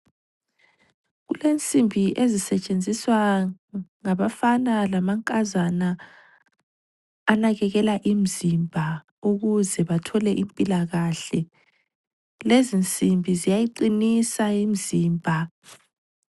Kulensimbi ezisetshenziswa ngabafana lamankazana anakekela imzimba ukuze bathole impilakahle. Lezinsimbi ziyayiqinisa imzimba.